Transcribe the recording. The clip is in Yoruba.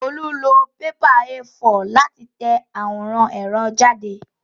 Olú lọ pépà A4 láti tẹ àwòrán ẹ̀rọ jáde